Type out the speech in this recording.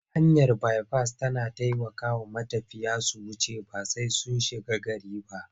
Hanyar baifas tana taikawa matafiya su wuce ba sai sun shiga gari ba.